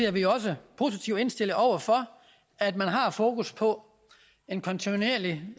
er vi også positivt indstillet over for at man har fokus på en kontinuerlig